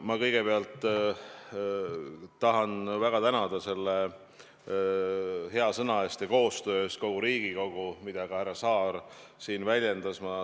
Ma kõigepealt tahan väga tänada selle hea sõna eest ja koostöö eest kogu Riigikogu, mida ka härra Saar siin väljendas.